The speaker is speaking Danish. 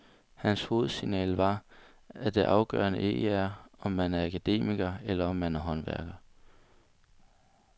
Hans hovedsignal var, at det afgørende ikke er, om man er akademiker, eller om man er håndværker.